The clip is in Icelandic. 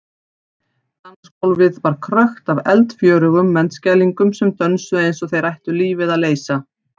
Dansgólfið var krökkt af eldfjörugum menntskælingum sem dönsuðu eins og þeir ættu lífið að leysa.